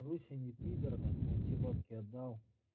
руся не пидр нахуй он все бабки отдал